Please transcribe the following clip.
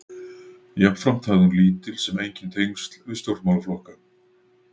Jafnframt hafði hafði hún lítil sem engin tengsl við stjórnmálaflokka.